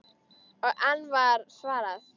Og enn var svarað: